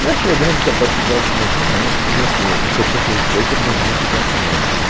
E acho que a grande capacidade do movimento, bom, e aí, e acho que é importante registrar isso, era um movimento de classe média, né